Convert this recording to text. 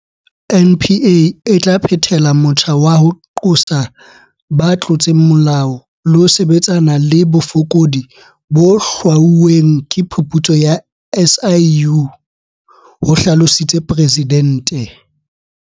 NPA e tla phethela motjha wa ho qosa ba tlotseng molao le ho sebetsana le bofokodi bo hlwauweng ke phuputso ya SIU, ho hlalositse Presidente.